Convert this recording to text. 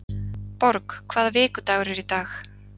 Borg, hvaða vikudagur er í dag?